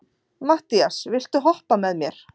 Mattías, viltu hoppa með mér?